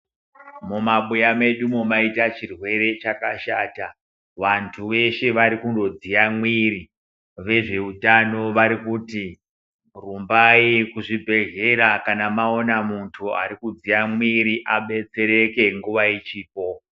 Mumabuya medumo maita chirwere chakashata, vantu veshe varikungodziye mwiiri, vezveutano vari kuti rumbai kuzvibhedhlera kana maona muntu ari kudziya mwiiri abetsereke nguva ichipo.